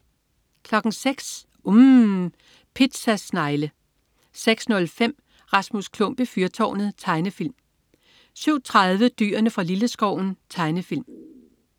06.00 UMM. Pizza snegle 06.05 Rasmus Klump i fyrtårnet. Tegnefilm 07.30 Dyrene fra Lilleskoven. Tegnefilm